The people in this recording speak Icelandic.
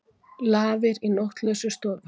Lafir í nóttlausri stofu.